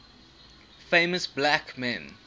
famous black men